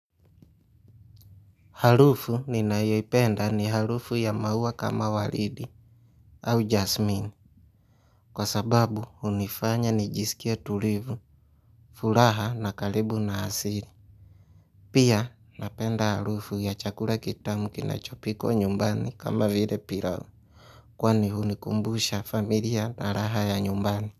Harufu ninayoipenda ni harufu ya maua kama waridi au jasmin. Kwa sababu hunifanya nijisikie tulivu furaha na karibu na asili. Pia napenda harufu ya chakula kitamu kinachopikwa nyumbani kama vile pilau. Kwani hunikumbusha familia na raha ya nyumbani.